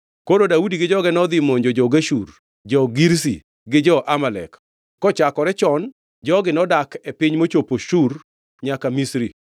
Koro Daudi gi joge nodhi momonjo jo-Geshur, jo-Girzi, gi jo-Amalek. Kochakore chon jogi nodak e piny mochopo Shur nyaka Misri.